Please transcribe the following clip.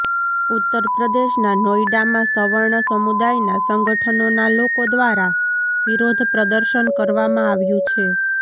ઉત્તરપ્રદેશના નોઈડામાં સવર્ણ સમુદાયના સંગઠનોના લોકો દ્વારા વિરોધ પ્રદર્શન કરવામાં આવ્યું છે